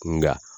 Nka